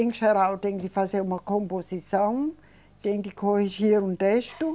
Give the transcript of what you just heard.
Em geral, tem que fazer uma composição, tem que corrigir um texto.